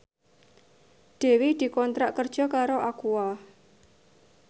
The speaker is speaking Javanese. Dewi dikontrak kerja karo Aqua